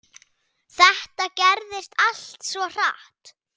Þetta gerðist allt svo hratt.